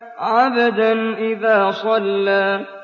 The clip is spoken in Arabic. عَبْدًا إِذَا صَلَّىٰ